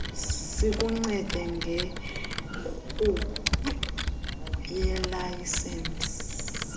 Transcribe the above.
sikuncede ngenkqubo yelayisensi